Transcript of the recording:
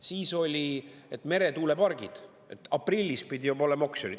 Siis oli, et meretuulepargid, aprillis pidi juba olema oksjon.